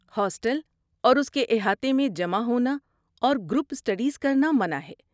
Hostel اور اس کے احاطے میں جمع ہونا اور گروپ اسٹڈیز کرنا منع ہے۔